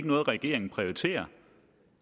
noget regeringen prioriterer